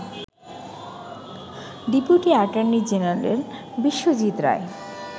deputy attorney general Biswajit Roy